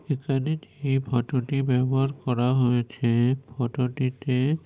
এখানে এই ফটো -টি ব্যবহার করা হয়েছে। ফটো -টিতে --